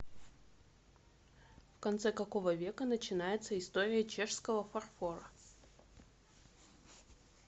в конце какого века начинается история чешского фарфора